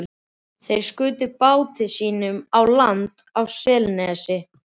Þeir skutu báti sínum á land á Selnesi.